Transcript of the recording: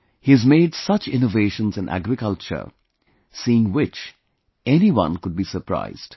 He has made such innovations in agriculture, seeing which anyone could be surprised